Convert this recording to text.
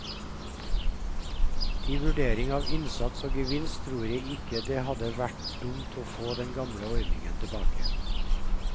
I vurderingen av innsats og gevinst tror jeg ikke det hadde vært dumt å få den gamle ordningen tilbake.